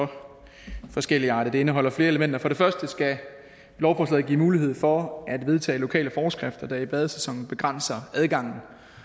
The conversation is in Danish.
for forskelligartet det indeholder flere elementer for det første skal lovforslaget give mulighed for at vedtage lokale forskrifter der i badesæsonen begrænser adgangen